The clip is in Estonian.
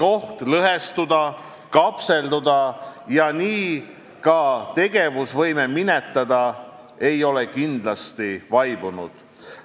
Oht lõhestuda, kapselduda ja nii ka tegevusvõime minetada ei ole kindlasti kadunud.